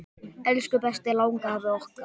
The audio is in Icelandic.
Elsku besti langafi okkar.